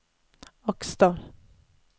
Aksdal